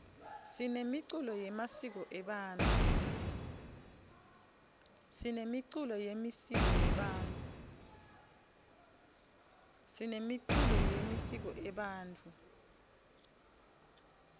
sinemiculo yemisiko ebantfu